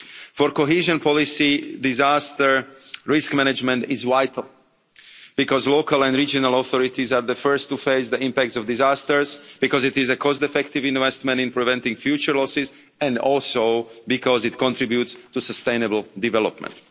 For cohesion policy, disaster risk management is vital because local and regional authorities are the first to face the impacts of disasters because it is a cost-effective investment in preventing future losses and also because it contributes to sustainable development.